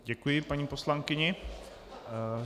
Děkuji paní poslankyni.